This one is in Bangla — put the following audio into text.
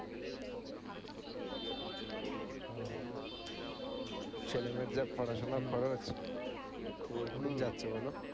ছেলে মেয়ের যা পড়াশুনার খরচ, তো যাচ্ছে বল?